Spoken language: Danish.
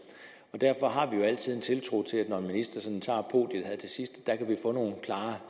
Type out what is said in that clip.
derfor har vi altid tiltro til at vi når en minister indtager podiet her til sidst kan få nogle klare